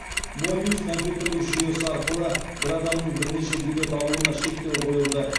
мобиус компьютерлік жүйесі арқылы бір адамның бірнеше билет алуына шектеу қойылды